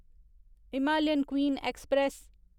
Himalayan queen express